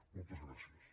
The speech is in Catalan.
moltes gràcies